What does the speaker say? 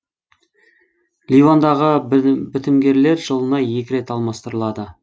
ливандағы бітімгерлер жылына екі рет алмастырылады